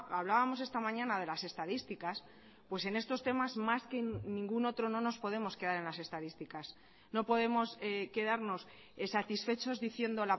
hablábamos esta mañana de las estadísticas pues en estos temas más que en ningún otro no nos podemos quedar en las estadísticas no podemos quedarnos satisfechos diciendo